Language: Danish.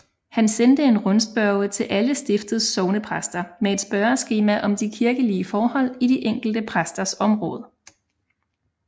Han sendte en rundspørge til alle stiftets sognepræster med et spørgeskema om de kirkelige forhold i de enkelte præsters område